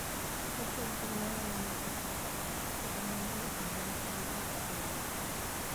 Ochiwo kony ne ohala mar gik moko koda mwandu e pinje mopogore opogore.